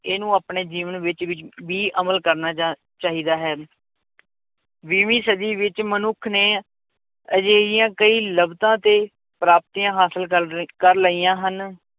ਇਹਨੂੰ ਆਪਣੇ ਜੀਵਨ ਵਿੱਚ ਵੀ ਵੀ ਅਮਲ ਕਰਨਾ ਜਾਂ ਚਾਹੀਦਾ ਹੈ ਵੀਹਵੀਂ ਸਦੀ ਵਿੱਚ ਮਨੁੱਖ ਨੇ ਅਜਿਹੀਆਂ ਕਈ ਲੱਭਤਾਂ ਤੇ ਪ੍ਰਾਪਤੀਆਂ ਹਾਸਿਲ ਕਰ ਲਈ ਕਰ ਲਈਆਂ ਹਨ